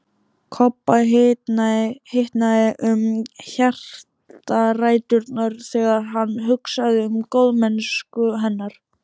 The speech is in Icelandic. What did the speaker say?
Kobba hitnaði um hjartaræturnar þegar hann hugsaði um góðmennsku hennar.